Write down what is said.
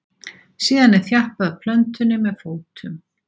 síðan er þjappað að plöntunni með fótum